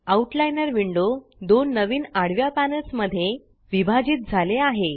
outliner window दोन नवीन आडव्या पॅनल्स मध्ये विभाजित झाले आहे